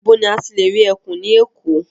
Ibo ní a ti lè rí ẹkùn ní Èkó?